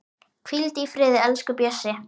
Hvíldu í friði, elsku Bjössi.